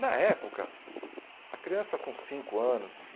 Na época, a criança com cinco anos